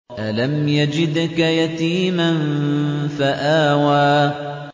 أَلَمْ يَجِدْكَ يَتِيمًا فَآوَىٰ